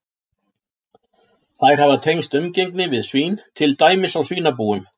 Þær hafa tengst umgengni við svín, til dæmis á svínabúum.